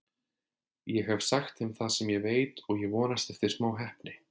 Ég hef sagt þeim það sem ég veit og ég vonast eftir smá heppni.